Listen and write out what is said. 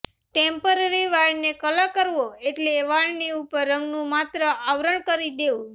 temporary વાળને colour કરવો એટલે વાળની ઉપર રંગનું માત્ર આવરણ કરી દેવું